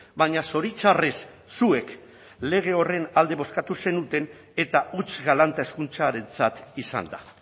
baina zoritxarrez zuek lege horren alde bozkatu zenuten eta huts galanta hezkuntzarentzat izan da